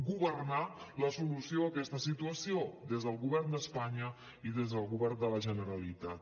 governar la solució a aquesta situació des del govern d’espanya i des del govern de la generalitat